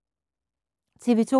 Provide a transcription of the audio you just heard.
TV 2